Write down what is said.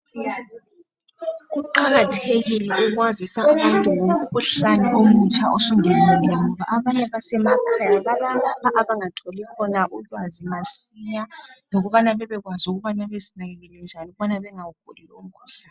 Kuqakathekile ukwazisa abantu ngomkhuhlane omutsha osungenile ngoba abanye basemakhaya abanye abangatholi khona ulwazi masinya lokubana bekwazi ukubana bezinakekele njani ukubana bengawuguli umkhuhlane.